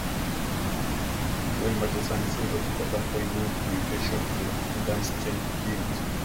Weill Marchesani syndrome kotam koibu mutations eng' ADAMTS10 genit